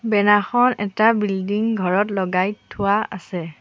Banner খন এটা building ঘৰত লগাই থোৱা আছে।